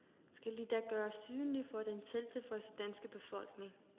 Skal de da gøres usynlige for den selvtilfredse danske befolkning?